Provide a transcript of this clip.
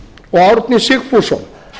og árni sigfússon